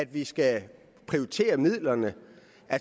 vi skal prioritere midlerne